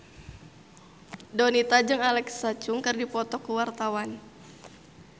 Donita jeung Alexa Chung keur dipoto ku wartawan